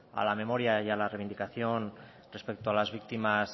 a la memoria y a la reivindicación respecto a las víctimas